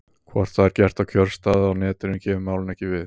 Hvort það er gert á kjörstað eða á Netinu kemur málinu ekki við.